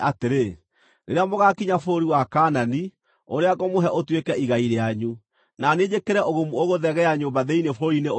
“Rĩrĩa mũgaakinya bũrũri wa Kaanani, ũrĩa ngũmũhe ũtuĩke igai rĩanyu, na niĩ njĩkĩre ũgumu ũgũthegea nyũmba thĩinĩ bũrũri-inĩ ũcio-rĩ,